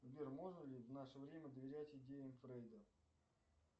сбер можно ли в наше время доверять идеям фрейда